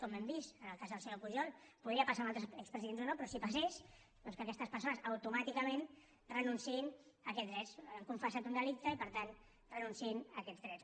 com hem vist en el cas del senyor pujol podria passar amb altres expresidents o no però si passés doncs que aquestes persones automàticament renunciïn a aquests drets han confessat un delicte i per tant que renunciïn a aquests drets